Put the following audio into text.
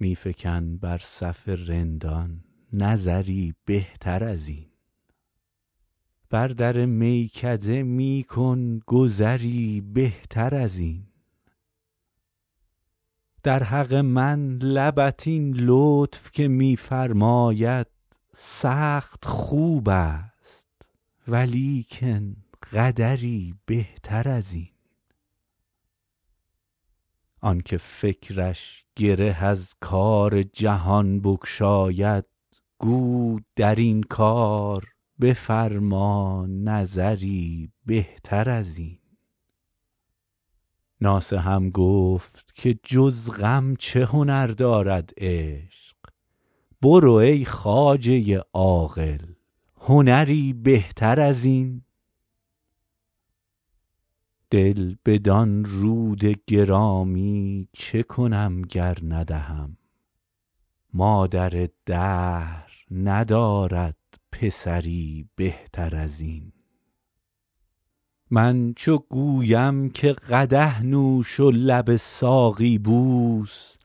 می فکن بر صف رندان نظری بهتر از این بر در میکده می کن گذری بهتر از این در حق من لبت این لطف که می فرماید سخت خوب است ولیکن قدری بهتر از این آن که فکرش گره از کار جهان بگشاید گو در این کار بفرما نظری بهتر از این ناصحم گفت که جز غم چه هنر دارد عشق برو ای خواجه عاقل هنری بهتر از این دل بدان رود گرامی چه کنم گر ندهم مادر دهر ندارد پسری بهتر از این من چو گویم که قدح نوش و لب ساقی بوس